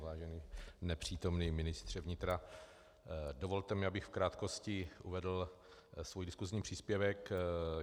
Vážený nepřítomný ministře vnitra, dovolte mi, abych v krátkosti uvedl svůj diskusní příspěvek.